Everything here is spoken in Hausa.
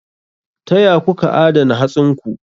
Ta ya kuka adana hatsinku?